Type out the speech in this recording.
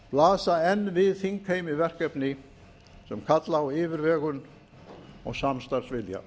blasa enn við þingheimi verkefni sem kalla á yfirvegun og samstarfsvilja